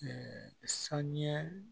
sanɲɛ